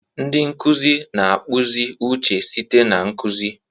Ndi nkuzi na-akpụzi uche site na nkuzi.